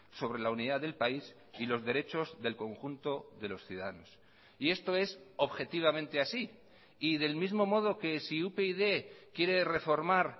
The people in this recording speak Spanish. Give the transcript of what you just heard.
sobre la unidad del país y los derechos del conjunto de los ciudadanos y esto es objetivamente así y del mismo modo que si upyd quiere reformar